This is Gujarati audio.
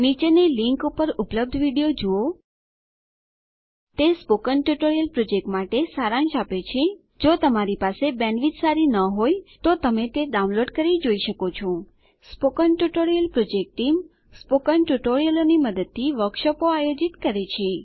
નીચેની લીંક ઉપર ઉપલબ્ધ વિડીયો જુઓ તે સ્પોકન ટ્યુટોરીયલ પ્રોજેક્ટ માટે સારાંશ આપે છે જો તમારી પાસે બેન્ડવિડ્થ સારી ન હોય તો તમે તે ડાઉનલોડ કરીને જોઈ શકો છો spoken tutorial project team spoken ટ્યુટોરીયલોની મદદથી વર્કશોપો આયોજિત કરે છે